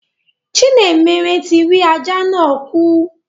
Chinemerem ti rí ajá náà kù.